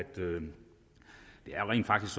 det rent faktisk